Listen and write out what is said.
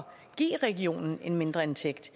give regionen en mindre indtægt